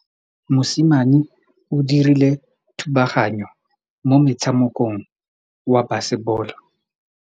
Mosimane o dirile thubaganyô mo motshamekong wa basebôlô.